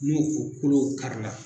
N'o o kolo karila